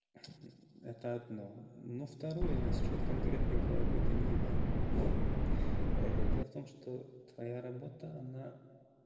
это одно но второе насчёт конкретной головы данила дело в том что твоя работа она